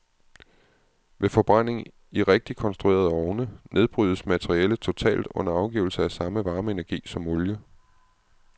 Ved forbrænding i rigtigt konstruerede ovne, nedbrydes materialet totalt under afgivelse af samme varmeenergi som olie.